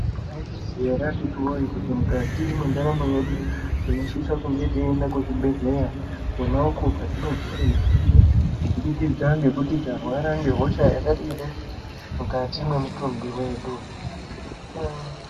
Maizviziva ere akhiti voye kuti mukati mwendaramo yedu tinosisa kungeteienda kuzvibhedhleya. Kona uku kwatino puva mutombo kubudikidza ngekuti tarwara ngehosha yakadini mukati mwemutumbi vedu.